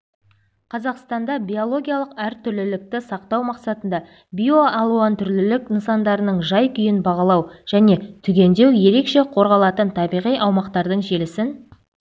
қазақстанда биологиялық әртүрлілікті сақтау мақсатында биоалуантүрлілік нысандарының жай-күйін бағалау және түгендеу ерекше қорғалатын табиғи аумақтардың желісін